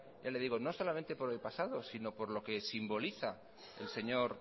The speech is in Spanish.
ya le digo no solamente por el pasado sino por lo que simboliza el señor